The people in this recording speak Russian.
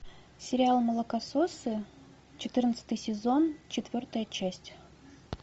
сериал молокососы четырнадцатый сезон четвертая часть